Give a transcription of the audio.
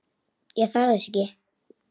Ég þarf þess ekki.